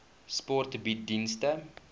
sport bied dienste